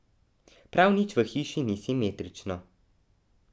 Prav nič v hiši ni simetrično.